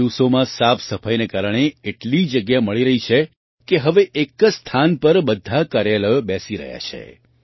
આ દિવસોમાં સાફસફાઈના કારણે એટલી જગ્યા મળી રહી છે કે હવે એક જ સ્થાન પર બધાં કાર્યાલયો બેસી રહ્યાં છે